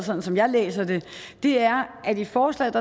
sådan som jeg læser det er at vi i forslaget